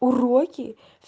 уроки